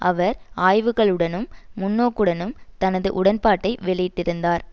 அவர் ஆய்வுகளுடனும் முன்னோக்குடனும் தனது உடன்பாட்டை வெளியிட்டிருந்தார்